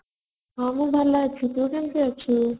ମୁଁ ଭଲ ଅଛି ତୁ କେମିତି ଅଛୁ